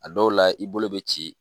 A dɔw la i bolo bɛ ci